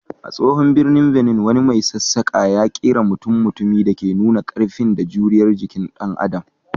A tsohon birnin Benin, wani mai sassaƙa ya kera mutum-mutumi da ke nuna ƙarfi da juriyar jikin dan Adam.